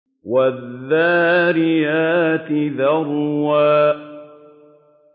وَالذَّارِيَاتِ ذَرْوًا